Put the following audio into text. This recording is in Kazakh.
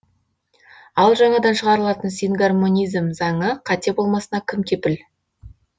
ал жаңадан шығарылатын сингармонизм заңы қате болмасына кім кепіл